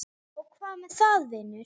Og hvað með það, vinur?